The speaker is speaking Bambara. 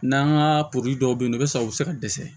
N'an ka porodi dɔw bɛ yen nɔ walasa u bɛ se ka dɛsɛ